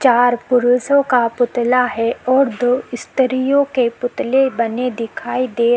चार पुरुषो का पुतला है और दो स्त्रियों के पुतले बने दिखाई दे --